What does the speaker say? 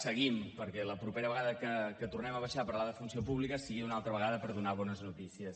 seguim perquè la propera vegada que tornem a baixar a parlar de funció pública sigui una altra vegada per donar bones notícies